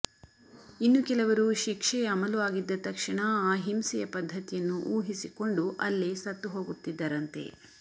ಇನ್ನು ಕೆಲವರು ಶಿಕ್ಷೆ ಅಮಲು ಆಗಿದ್ದ ತಕ್ಷಣ ಆ ಹಿಂಸೆಯ ಪದ್ಧತಿಯನ್ನು ಊಹಿಸಿಕೊಂಡು ಅಲ್ಲೇ ಸತ್ತು ಹೋಗುತ್ತಿದ್ದರಂತೆ